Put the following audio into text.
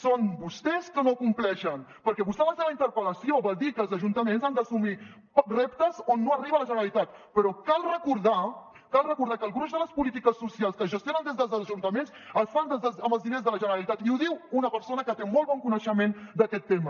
són vostès que no compleixen perquè vostè en la seva interpel·lació va dir que els ajuntaments han d’assumir reptes on no arriba la generalitat però cal recordar cal recordar que el gruix de les polítiques socials que es gestionen des dels ajuntaments es fan amb els diners de la generalitat i ho diu una persona que té molt bon coneixement d’aquest tema